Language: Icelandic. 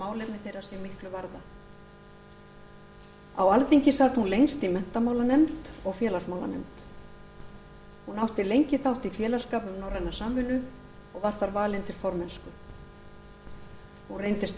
málefni þeirra sig miklu varða á alþingi sat hún lengst í menntamálanefnd og félagsmálanefnd hún átti lengi þátt í félagsskap um norræna samvinnu og var þar valin til formennsku hún reyndist